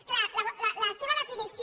clar la seva definició